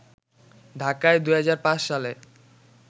ঢাকায় ২০০৫ সালে